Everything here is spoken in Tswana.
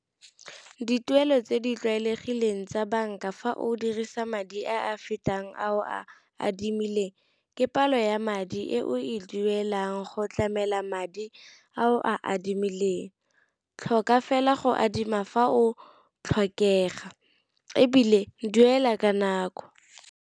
Dituelo tse di tlwaelegileng tsa banka fa o dirisa madi a a fetang a o a adimileng, ke palo ya madi e o e duelang go go tlamela madi a o a adimileng, tlhoka fela go adima fa o tlhokega ebile duela ka nako.